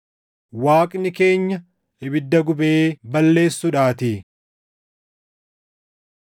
Waaqni keenya ibidda gubee balleessuudhaatii. + 12:29 \+xt KeD 4:24\+xt*